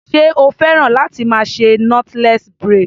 Ṣé o fẹ́ràn láti máa ṣe knotless braid?